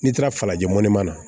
N'i taara falajɛmɔnin na